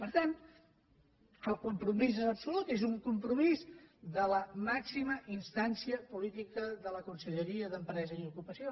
per tant el compromís és absolut és un compromís de la màxima instància política de la conselleria d’empresa i ocupació